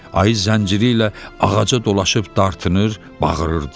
Ayı zənciri ilə ağaca dolaşıb dartınır, bağırırdı.